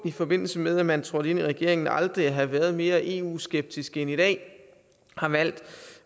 i forbindelse med at man trådte ind i regeringen på aldrig at have været mere eu skeptisk end i dag har valgt